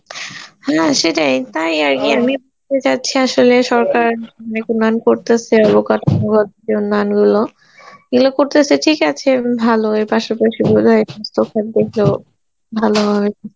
হ্যাঁ সেটাই তাই আর কি আমিও চাচ্ছি আসলে সরকার করতেসে , এগুলো করতেসে ঠিক আছে ভালো এর পাশাপাশি বোধ হয় ভালো হয়